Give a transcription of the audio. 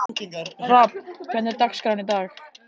Hrafn, hvernig er dagskráin í dag?